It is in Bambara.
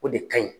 O de kaɲi